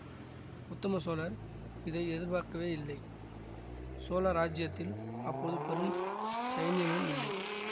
உத்தம சோழர் இதை எதிர்பார்க்கவேயில்லை சோழ ராஜ்யத்தில் அப்போது பெரும் சைன்யமும் இல்லை